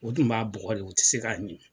O tun b'a bugɔ de u tɛ se k'a ɲi.